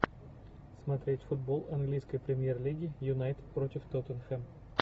смотреть футбол английской премьер лиги юнайтед против тоттенхэм